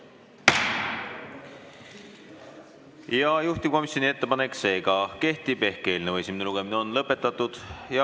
Seega kehtib juhtivkomisjoni ettepanek ehk eelnõu esimene lugemine on lõpetatud.